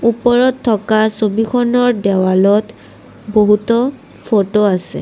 ওপৰত থকা ছবিখনৰ দেৱালত বহুতো ফটো আছে।